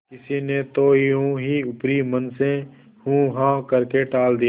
किसी ने तो यों ही ऊपरी मन से हूँहाँ करके टाल दिया